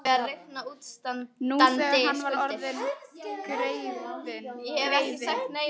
Nú þegar hann væri orðinn greifi.